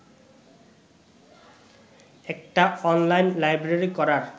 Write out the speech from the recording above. একটা online library করার